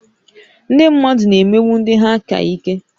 Ndị mmadụ na-emegbu ndị ha ka ike